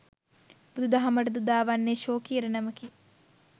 බුදුදහමට ද උදාවන්නේ ශෝකී ඉරණමකි.